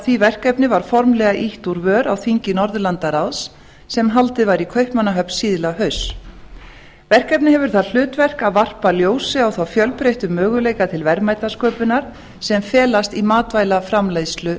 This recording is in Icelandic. því verkefni var formlega ýtt úr vör á þingi norðurlandaráðs sem haldið var í kaupmannahöfn síðla hausts verkefnið hefur það hlutverk að varpa ljósi á þá fjölbreyttu möguleika til verðmætasköpunar sem felast í matvælaframleiðslu